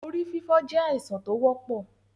Orí fífọ́ jẹ́ àìsàn tó wọ́pọ̀.